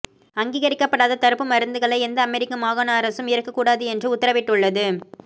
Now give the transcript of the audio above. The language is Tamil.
அங்கீகரிக்கப்படாத தடுப்பு மருந்துகளை எந்த அமெரிக்க மாகாண அரசும் ஏற்கக் கூடாது என்று உத்தரவிட்டுள்ளது